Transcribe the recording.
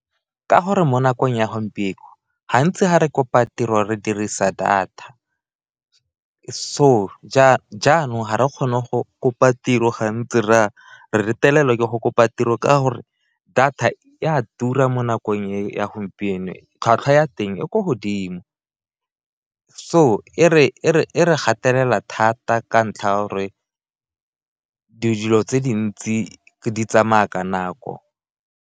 Ka gore mo nakong ya gompieno gantsi ga re kopa tiro re dirisa data, so jaanong ga re kgone go kopa tiro gantsi ra re retelelwa ke go kopa tiro ka gore data e a tura mo nakong e ya gompieno, tlhwatlhwa ya teng e kwa godimo so e re gatelela thata ka ntlha ya gore dilo tse dintsi di tsamaya ka nako.